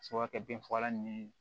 A bɛ se ka kɛ binfagalan ni